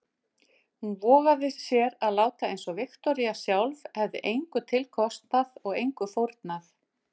Hún vogaði sér að láta einsog Viktoría sjálf hefði engu til kostað og engu fórnað.